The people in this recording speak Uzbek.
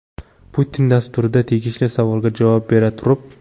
Putin” dasturida tegishli savolga javob bera turib.